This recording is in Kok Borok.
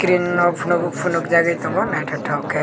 bininok phunukgui phunukjagui tongo naithotok khe.